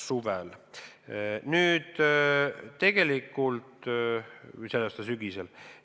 See on tänavu suvel või sügisel.